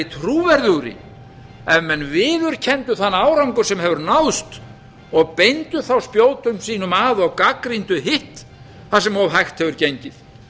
trúverðugri ef menn viðurkenndu þann árangur sem hefur náðst og beindu þá spjótum sínum að og gagnrýndu hitt þar sem of hægt hefur gengið